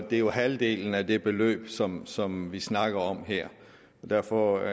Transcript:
er halvdelen af det beløb som som vi snakker om her og derfor